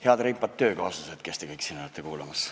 Head reipad töökaaslased, kes te kõik siin kuulamas olete!